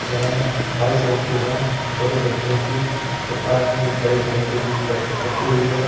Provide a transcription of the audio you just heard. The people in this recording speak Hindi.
यह बाइसाईकिल है छोटे बच्चों की और पास में बड़ी साइकिल भी खड़ रखी हुई है।